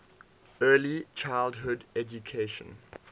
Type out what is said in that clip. early childhood education